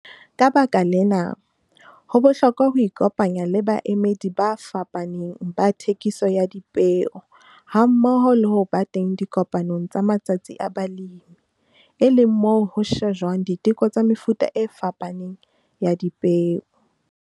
Ka baka lena, ho bohlokwa ho ikopanya le baemedi ba fapaneng ba thekiso ya dipeo hammoho le ho ba teng dikopanong tsa matsatsi a balemi, e leng moo ho shejwang diteko tsa mefuta e fapaneng ya dipeo.